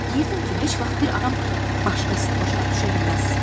Deyirdim ki, heç vaxt bir adam başqasını başa düşə bilməz.